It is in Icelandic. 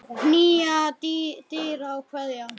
Knýja dyra og kveðja.